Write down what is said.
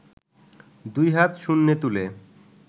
দুই হাত শূন্যে তুলে